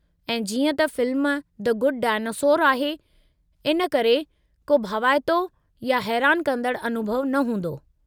ऐं जीअं त फ़िल्मु द गुड डायनासोर आहे, हिन करे को भवाइतो या हैरान कंदड़ु अनुभउ न हूंदो।